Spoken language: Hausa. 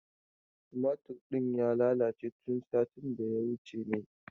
Tumatur ɗin ya lalace tun satin da ya wuce ne.